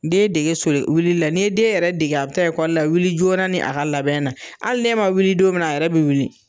Den dege soli wilila la ni ye den yɛrɛ dege a bɛ taa ekɔli la, wili joona ni a ka labɛn na hali n"e ma wili don minna a yɛrɛ bɛ wili